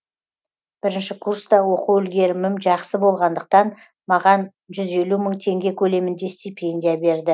бірінші курста оқу үлгерімім жақсы болғандықтан маған жүз елу мың теңге көлемінде стипендия берді